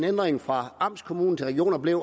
ændring fra amtskommune til region at